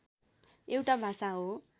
एउटा भाषा हो